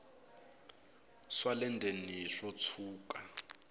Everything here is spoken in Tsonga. swa le ndzeni swo tshuka